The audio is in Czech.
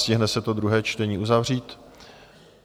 Stihne se to druhé čtení uzavřít?